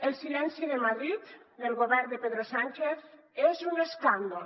el silenci de madrid del govern de pedro sánchez és un escàndol